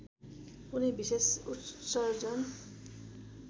कुनै विशेष उत्सर्जन